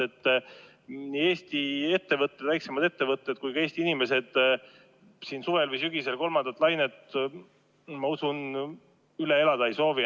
Ma usun, et Eesti ettevõtted, eriti väiksemad ettevõtted, ega ka Eesti inimesed üldse suvel või sügisel enam kolmandat lainet üle elada ei soovi.